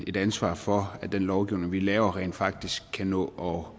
et ansvar for at den lovgivning vi laver rent faktisk kan nå